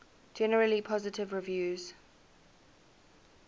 generally positive reviews